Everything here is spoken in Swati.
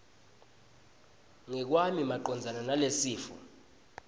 ngekwami macondzana nalesifo